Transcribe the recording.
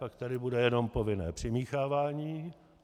Pak tady bude jenom povinné přimíchávání.